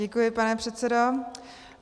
Děkuji, pane předsedo.